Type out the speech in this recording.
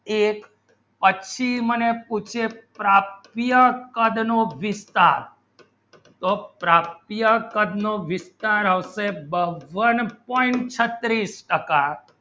એક અચ્છી મને પૂછે પ્રાપ્તિયો કદ નોતો પ્રાપ્તિઓ કદ નો વિસ્તાર આવશે one point છત્રીસ ટક્કા